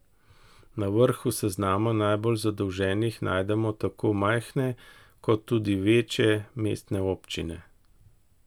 Na vrhu seznama najbolj zadolženih najdemo tako majhne, kot tudi večje, mestne občine.